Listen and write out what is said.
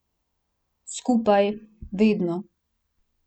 Skupaj, vedno.